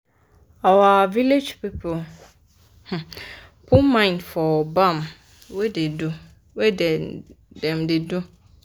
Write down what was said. our village people put mind for bam wey dem da do